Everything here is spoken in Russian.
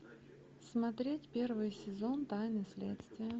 смотреть первый сезон тайны следствия